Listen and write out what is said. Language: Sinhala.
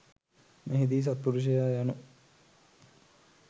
මෙහිදී සත්පුරුෂයා යනු